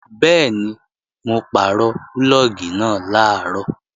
Bẹ́ẹ̀ni, mo pàrọ̀ púlọ̀gì náà làárọ̀